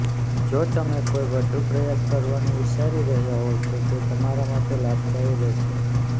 જો તમે કોઈ વધુ પ્રયાસ કરવાનું વિચારી રહ્યા હોવ તો તે તમારા માટે લાભદાયી રહેશે